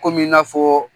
Komi i n'a fɔ